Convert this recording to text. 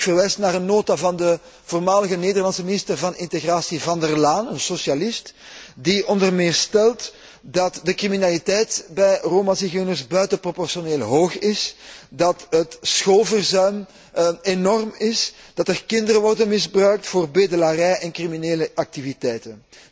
Ik verwijs naar een nota van de voormalige Nederlandse minister van Integratie, Van der Laan, een socialist, die onder meer stelt dat de criminaliteit onder Romazigeuners buitenproportioneel hoog is, dat het schoolverzuim enorm is, dat er kinderen worden misbruikt voor bedelarij en criminele activiteiten.